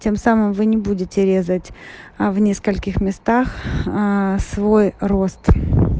тем самым вы не будете резать в нескольких местах аа свой рост